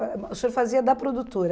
O senhor fazia da produtora.